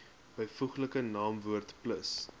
byvoeglike naamwoord plus